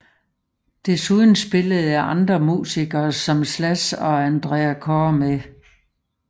Desuden spillede andre musikere som Slash og Andrea Corr med